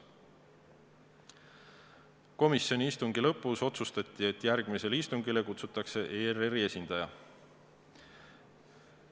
Komisjoni istungi lõpus otsustati, et järgmisele istungile kutsutakse ERR-i esindaja.